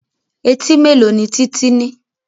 Etí mélòó ni Títí ní?